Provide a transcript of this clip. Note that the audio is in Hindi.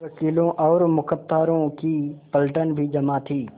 वकीलों और मुख्तारों की पलटन भी जमा थी